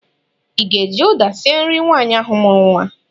Ị ga-eji ụda sie nri nwaanyị ahụ mụrụ nwa?